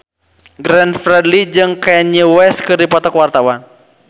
Glenn Fredly jeung Kanye West keur dipoto ku wartawan